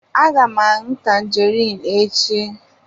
Aga m aṅụ tangerine echi.